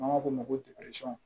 N'an b'a f'o ma ko